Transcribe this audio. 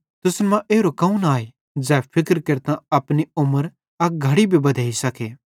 तुसन मां एरो कौन आए ज़ै फिक्र केरतां अपनी उमर अक घड़ी भी बधैई सकते